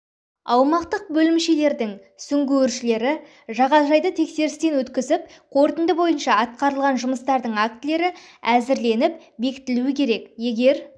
аумақтық бөлімшелерінің сүңгуіршілері жағажайды тексерістен өткізіп қорытынды бойынша атқарыған жұмыстардың актілері әзірленіп бекітілуі керек егер